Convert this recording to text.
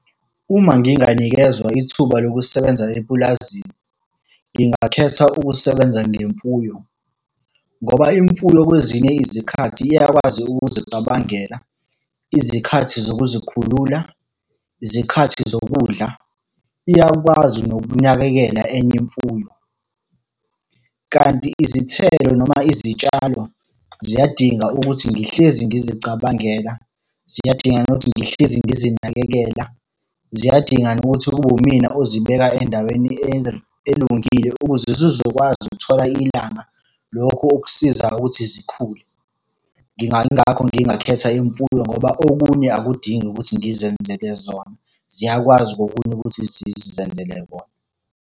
Uma nginganikezwa ithuba lokusebenza epulazini, ngingakhetha ukusebenza ngemfuyo, ngoba imfuyo kwezinye izikhathi iyakwazi ukuzicabangela, izikhathi zokuzikhulula, izikhathi zokudla. Iyakwazi nokunakekela enye imfuyo. Kanti izithelo noma izitshalo, ziyadinga ukuthi ngihlezi ngizicabangela. Ziyadinga nokuthi ngihlezi ngizinakekela. Ziyadinga nokuthi kube wumina ozibeka endaweni elungile ukuze zizokwazi ukuthola ilanga, lokhu okusiza ukuthi zikhule. Yingakho ngingakhetha imfuyo ngoba okunye akudingi ukuthi ngizenzele zona. Ziyakwazi okunye ukuthi zizenzele kona.